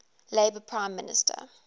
labour prime minister